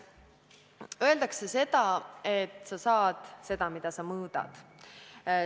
Öeldakse, et sa saad seda, mida mõõdad.